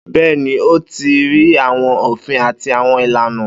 Bẹ́ẹ́ni, ó ti rí àwọn òfin àti àwọn ìlànà.